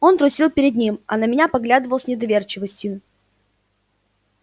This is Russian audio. он трусил перед ним а на меня поглядывал с недоверчивостью